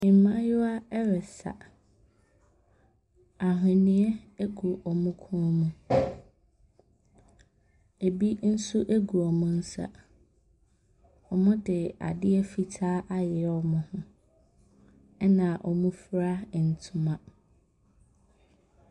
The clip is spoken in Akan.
Mmayewa resa. Ahweneɛ gu wɔn kɔn mu. Ebi nso gu wɔn nsa. Wɔde asdeɛ fitaa ayeyɛ wɔn ho Na wofura ntoma.